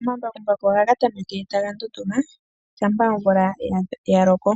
Omambakumbaku ohaga tameke taga ndunduma shampa omvula ya loko.